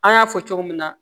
An y'a fɔ cogo min na